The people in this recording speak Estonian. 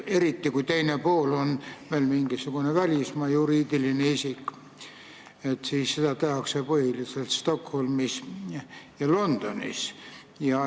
Eriti kui teine pool on välismaa juriidiline isik, siis lahend tehakse põhiliselt Stockholmis või Londonis.